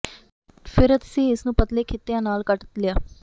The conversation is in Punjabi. ਫਿਰ ਅਸੀਂ ਇਸ ਨੂੰ ਪਤਲੇ ਖਿੱਤਿਆਂ ਨਾਲ ਕੱਟ ਲਿਆ